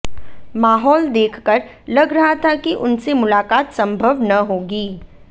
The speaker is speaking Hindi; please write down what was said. माहौल देख कर लग रहा था कि उनसे मुलाकात संभव न होगी